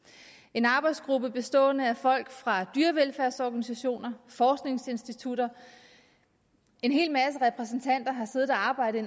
en arbejdsgruppe bestående af folk fra dyrevelfærdsorganisationer og forskningsinstitutter en hel masse repræsentanter har siddet og arbejdet